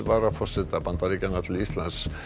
varaforseta Bandaríkjanna til Íslands